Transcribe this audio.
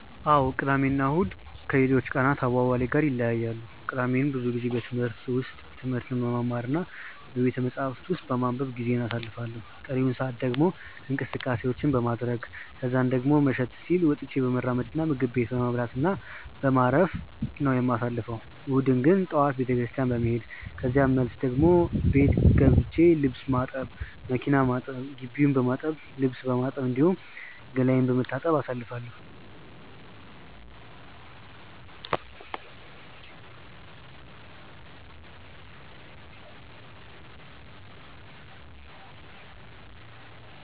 አዎ ቅዳሜ እና እሁድ ከሌሎች ቀናት አዋዋሌ ጋር ይለያያሉ። ቅዳሜን ብዙ ጊዜ በዩኒቨርሲቲ ውስጥ ትምህርት በመማር እና ቤተመጻሕፍት ውስጥ በማንበብ ጊዜዬን አሳልፋለሁ ቀሪውን ሰአት ደግሞ እንቅስቀሴ በማድረረግ ከዛን ደሞ መሸት ሲል ወጥቶ በመራመድ እና ምግብ ቤት በመብላት እና በማረፍ በማረፍ ነው የማሳልፈው። እሁድን ግን ጠዋት ቤተክርስትያን በመሄድ ከዛን መልስ ደሞ ቤት ገብቼ ልብስ ማጠብ፣ መኪና ማጠብ፣ ግቢውን በማጠብ፣ ልብስ በማጠብ፣ እንዲሁም ገላዬን በመታጠብ አሳልፋለሁ።